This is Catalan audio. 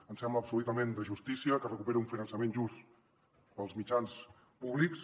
ens sembla absolutament de justícia que es recuperi un finançament just per als mitjans públics